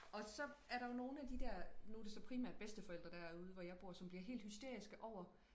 og så er der jo nogen af de der nu er det så primært bedsteforældre der er ude hvor jeg bor som bliver helt hysteriske over